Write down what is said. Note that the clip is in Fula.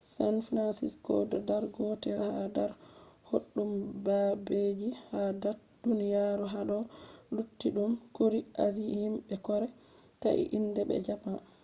san francisco do dar gotel ha dar boɗɗum babeji ha dat duniyaru hado luttuɗum kuri asie: himɓe kore thai inde be japan